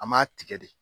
An m'a tigɛ de